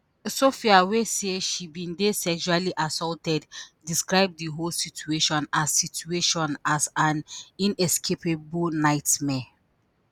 sophia wey say she bin dey sexually assaulted describe di whole situation as situation as an inescapable nightmare.